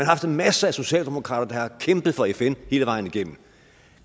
haft masser af socialdemokrater der har kæmpet for fn hele vejen igennem